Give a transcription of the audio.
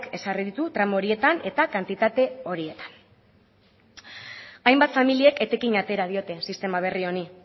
ezarri ditu tramo horietan eta kantitate horietan hainbat familiek etekin atera diote sistema berri honi